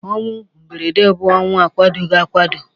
Ọnwụ mberede bụ ọnwụ a kwadoghi akwado.